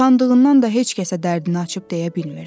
Utandığından da heç kəsə dərdini açıb deyə bilmirdi.